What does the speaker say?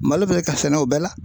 Malo bɛ ka sɛnɛ o bɛɛ la